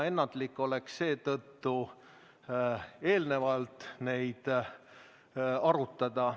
Ennatlik oleks seetõttu eelnevalt neid arutada.